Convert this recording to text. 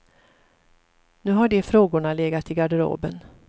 Nu har de frågorna legat i garderoben.